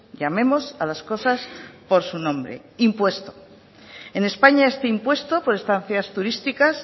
llamemos a las cosas por su nombre impuesto en españa este impuesto por estancias turísticas